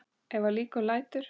Ef að líkum lætur.